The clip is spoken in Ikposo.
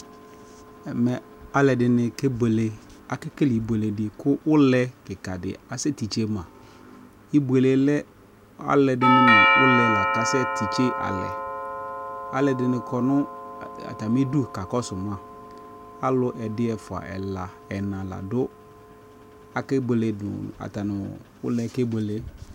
Ɛmɛ alɛde ne ke bueleAke kele inuele de ko ulɛ kika de asɛ titse ma Ibuele lɛ alɛde ne no ulɛ la kasɛ titse alɛ Alɛde ne kɔ no atame du ka kɔso maAlu ɛdi, ɛfua, ɛla, ɛna la doAke buele do, ata no ulɛ ke buele